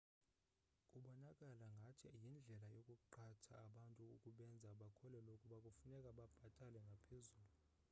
kubonakala ngathi yindlela yokuqhatha abantu ukubenza bakholwe ukuba kufuneka babhatale ngaphezulu